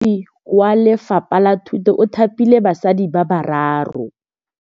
Mothapi wa Lefapha la Thutô o thapile basadi ba ba raro.